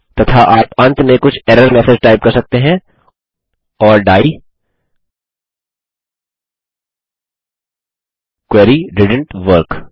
तथा आप अंत में कुछ एरर मैसेज टाइप कर सकते हैं or the query didn't work